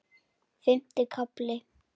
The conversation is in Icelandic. Fimmti kafli